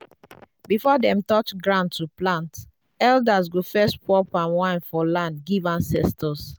before dem touch ground to plant elders go first pour palm wine for land give ancestors.